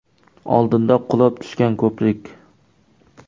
Oldinda qulab tushgan ko‘prik.